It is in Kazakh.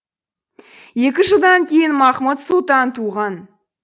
екі жылдан кейін махмуд сұлтан туған